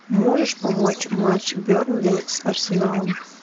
можешь помочь матч бернли с арсеналом